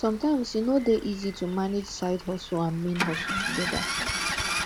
sometimes e no de easy to manage side hustle and main hustle together